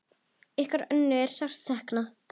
Ykkar Önnu er sárt saknað.